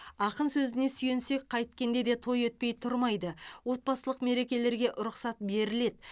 ақын сөзіне сүйенсек қайткенде де той өтпей тұрмайды отбасылық мерекелерге рұқсат беріледі